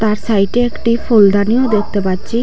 সাইটে সাইড -এ একটি ফুলদানিও দেখতে পাচ্চি।